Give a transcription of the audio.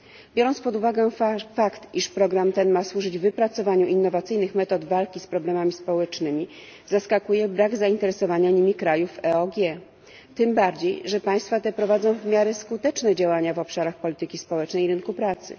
Biorąc pod uwagę fakt, iż program ten ma służyć wypracowaniu innowacyjnych metod walki z problemami społecznymi, zaskakuje brak zainteresowania nimi krajów EOG, tym bardziej, że państwa te prowadzą w miarę skuteczne działania w obszarach polityki społecznej i rynku pracy.